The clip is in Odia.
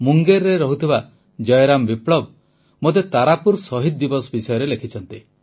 ମୁଙ୍ଗେରରେ ରହୁଥିବା ଜୟରାମ ବିପ୍ଳବ ମୋତେ ତାରାପୁର ଶହୀଦ ଦିବସ ବିଷୟରେ ଲେଖିଛନ୍ତି